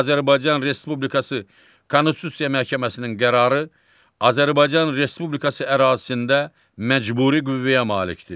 Azərbaycan Respublikası Konstitusiya Məhkəməsinin qərarı Azərbaycan Respublikası ərazisində məcburi qüvvəyə malikdir.